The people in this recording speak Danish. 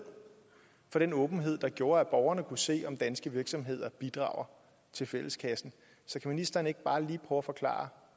for den åbenhed der gjorde at borgerne kunne se om danske virksomheder bidrager til fælleskassen så kan ministeren ikke bare lige kort forklare